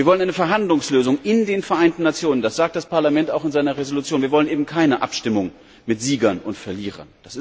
Wir wollen eine Verhandlungslösung in den Vereinten Nationen, das sagt das Parlament auch in seiner Entschließung. Wir wollen keine Abstimmung mit Siegern und Verlierern.